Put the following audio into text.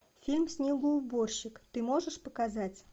фильм снегоуборщик ты можешь показать